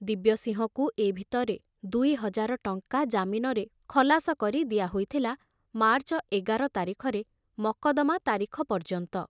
ଦିବ୍ୟସିଂହକୁ ଏ ଭିତରେ ଦୁଇ ହଜାର ଟଙ୍କା ଜାମିନରେ ଖଲାସ କରି ଦିଆ ହୋଇଥିଲା ମାର୍ଚ୍ଚ ଏଗାର ତାରିଖରେ ମକଦ୍ଦମା ତାରିଖ ପର୍ଯ୍ୟନ୍ତ।